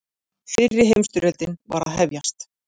Fyrri heimsstyrjöldin var að hefjast.